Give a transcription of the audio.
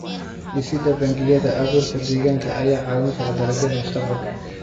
Dhisida bangiyada abuurka deegaanka ayaa caawin kara dalagyada mustaqbalka.